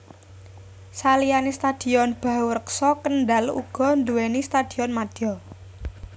Saliyane Stadion Bahurekso Kendal uga duwéni Stadion Madya